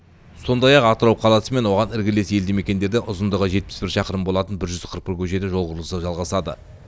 сондай ақ атырау қаласы мен оған іргелес елді мекендерде ұзындығы жетпіс шақырым болатын жүз қырық бір көшеде жол құрылысы жалғасады